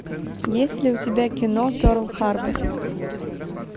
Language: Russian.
есть ли у тебя кино перл харбор